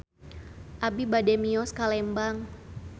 Abi bade mios ka Lembang